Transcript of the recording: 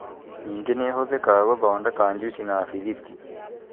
ningĩ nĩ ĩhũthĩkaga gũthondeka juici na bĩthiti.